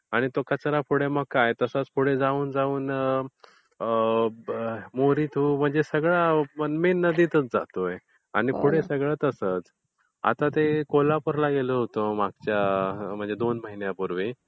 आणि तो कचरा पुढे काय तो तसाच पुढे जाऊन जाऊन म्हणजे मेन नदीतच जातोय. म्हणजे पुढे सगळं तसंच. आता ते कोल्हापूरला गेलो होतो मागच्या म्हणजे दोन महिन्यांपूर्वी.